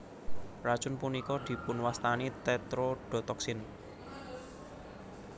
Racun punika dipunwastani Tetrodotoksin